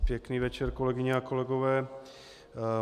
Pěkný večer, kolegyně a kolegové.